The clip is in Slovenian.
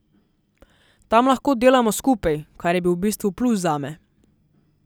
Tam lahko delamo skupaj, kar je bil v bistvu plus zame.